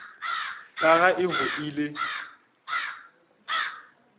ka ga e go ile